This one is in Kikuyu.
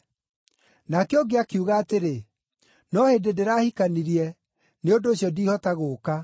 “Nake ũngĩ akiuga atĩrĩ, ‘No hĩndĩ ndĩrahikanirie, nĩ ũndũ ũcio ndiihota gũũka.’